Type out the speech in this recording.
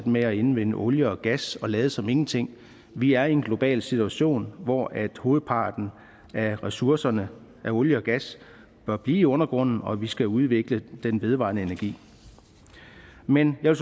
med at indvinde olie og gas og lade som ingenting vi er i en global situation hvor hovedparten af ressourcerne af olie og gas bør blive i undergrunden og hvor vi skal udvikle den vedvarende energi men jeg